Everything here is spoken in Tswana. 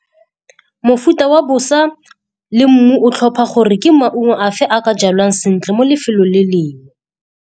Mofuta wa bosa le mmu o tlhopha gore ke maungo a fe a ka jalwang sentle mo lefelong le lengwe.